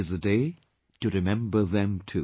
It is a day to remember them too